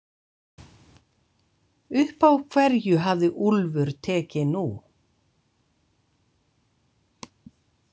Upp á hverju hafði Úlfur tekið nú?